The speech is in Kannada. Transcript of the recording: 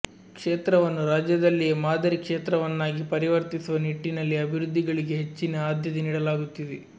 ಕ್ಷೇತ್ರವನ್ನು ರಾಜ್ಯದಲ್ಲಿಯೇ ಮಾದರಿ ಕ್ಷೇತ್ರವನ್ನಾಗಿ ಪರಿವರ್ತಿಸುವ ನಿಟ್ಟಿನಲ್ಲಿ ಅಭಿವೃದ್ಧಿಗಳಿಗೆ ಹೆಚ್ಚಿನ ಆದ್ಯತೆ ನೀಡಲಾಗುತ್ತಿದೆ